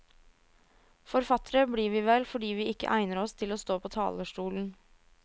Forfattere blir vi vel fordi vi ikke egner oss til å stå på talerstolen.